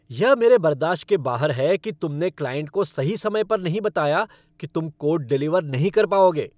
यह मेरे बर्दाश्त के बाहर है कि तुमने क्लाइंट को सही समय पर नहीं बताया कि तुम कोड डिलीवर नहीं कर पाओगे।